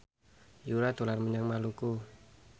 Yura dolan menyang Maluku